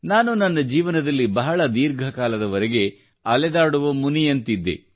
ನಾನು ನನ್ನ ಜೀವನದಲ್ಲಿ ಬಹಳ ದೀರ್ಘ ಕಾಲದವರೆಗೆ ಅಲೆದಾಡುವ ಮುನಿಯಂತಿದ್ದೆ